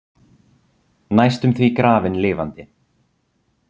Næstum því grafin lifandi